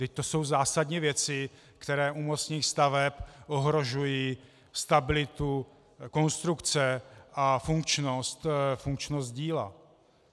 Vždyť to jsou zásadní věci, které u mostních staveb ohrožují stabilitu konstrukce a funkčnost díla.